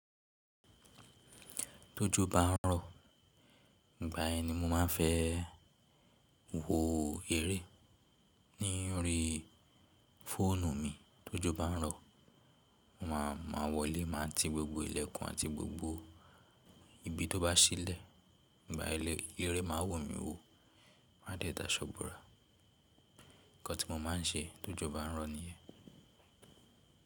Tójó bá ń rọ̀, ìgbà yẹn i mo máa ń fẹ́ wo eré ní orí fóònù mi. Tójó bá ń rọ̀, mo máa, máa wọlé, máa ti gbogbo ilẹ̀kùn àti gbogbo ibi tó bá ṣílẹ̀. Ìgbà eleyi, eré máa wu mí wò, máa dẹ́ dà aṣọ́ borà. Ǹkan tí mo máa ń ṣe ti ójó bá ń rọ̀ nìyẹn.